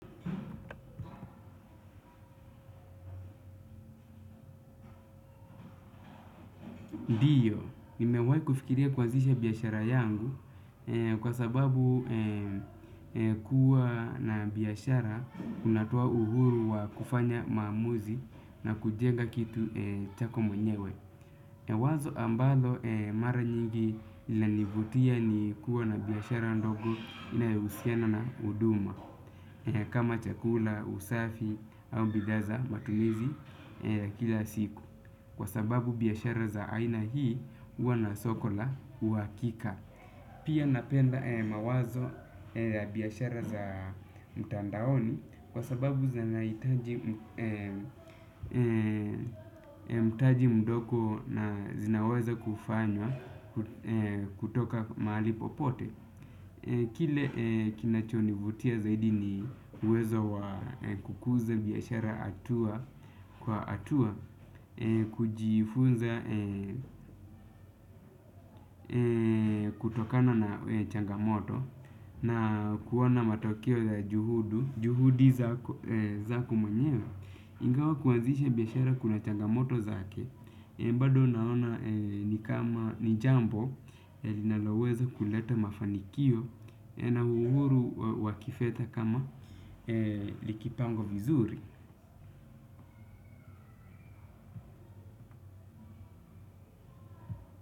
Ndio, nimewahi kufikiria kuanizisha biashara yangu kwa sababu kuwa na biashara unatoa uhuru wa kufanya maamuzi na kujenga kitu chako mwenyewe. Wazo ambalo mara nyingi linanivutia ni kuwa na biashara ndogo inayohusiana na huduma kama chakula, usafi au bidhaa za matumizi ya kila siku. Kwa sababu biashara za aina hii huwa na soko la uhakika. Pia napenda mawazo ya biashara za mtandaoni. Kwa sababu zinahitaji mtaji mdogo na zinaweza kufanywa kutoka mahali popote. Kile kinachonivutia zaidi ni uwezo wa kukuza biashara hatua kwa hatua, kujifunza kutokana na changamoto na kuona matokeo ya juhudu juhudi zako menyewe. Ingawa kuanzisha biashara kuna changamoto zake bado naona ni kama ni jambo linaloweza kuleta mafanikio. Na uhuru wakifedha kama likipangwa vizuri.